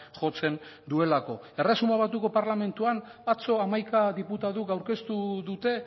jotzen duelako erresuma batuko parlamentuan atzo hamaika diputatuk aurkeztu dute